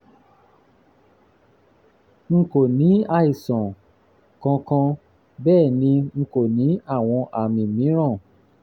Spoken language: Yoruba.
n kò ní àìsàn kankan bẹ́ẹ̀ ni n kò ní àwọn àmì mìíràn